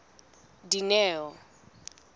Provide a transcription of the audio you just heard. dineo